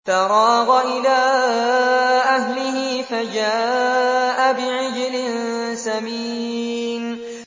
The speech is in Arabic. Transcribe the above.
فَرَاغَ إِلَىٰ أَهْلِهِ فَجَاءَ بِعِجْلٍ سَمِينٍ